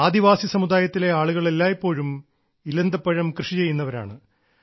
ആദിവാസി സമുദായത്തിലെ ആളുകൾ എല്ലായിപ്പോഴും ഇലന്തപ്പഴം കൃഷി ചെയ്യുന്നവരാണ്